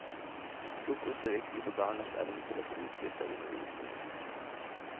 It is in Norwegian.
Frokost er viktig for barnas evne til å få utbytte av undervisningen.